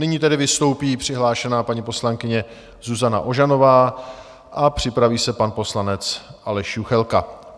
Nyní tedy vystoupí přihlášená paní poslankyně Zuzana Ožanová a připraví se pan poslanec Aleš Juchelka.